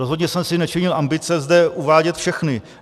Rozhodně jsem si nečinil ambice zde uvádět všechny.